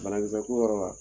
ku wɔɔrɔ la